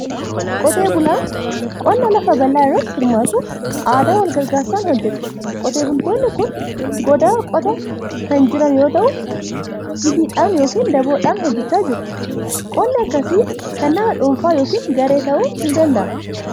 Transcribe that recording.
Qotee bulaan qonna lafa bal'aa irratti hirmaatu, aadaa wal gargaarsaan hojjeta. Qotee bultoonni kun goodaa qotaa kan jiran yoo ta'u, jigiidhaan yookiin daboodhaan hojjechaa jiru. Qonni akkasii kan nama dhuunfaa yookiin garee ta'uu ni danda'a.